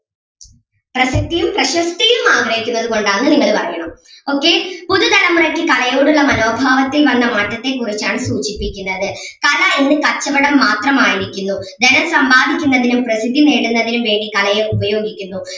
പ്രസിദ്ധിയും പ്രശസ്തിതയും ആഗ്രഹിക്കുന്നത് കൊണ്ട് ആണെന്ന് നിങ്ങൾ പറയണം okay പുതുതലമുറയ്ക്ക് കലയോടുള്ള മനോഭാവത്തിൽ വന്ന മാറ്റത്തെ കുറിച്ച് ആണ് സൂചിപ്പിക്കുന്നത് കല ഇന്ന് കച്ചവടം മാത്രം ആയിരിക്കുന്നു ധനം സമ്പാദിക്കുന്നതിനും പ്രസിദ്ധി നേടുന്നതിനും വേണ്ടി കലയെ ഉപയോഗിക്കുന്നു.